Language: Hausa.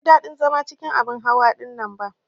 Ban ji ɗadin zama cikin abin hawa ɗinnan ba.